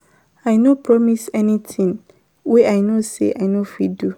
I no promise anytin wey I know sey I no fit do.